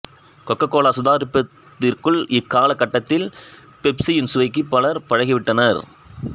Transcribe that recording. kho kho Cola சுதாரிப்பதற்குள் இக்கால கட்டத்தில் பெப்சியின் சுவைக்கு பலர் பழகிவிட்டனர்